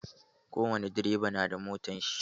Ko wani direba na da motar shi.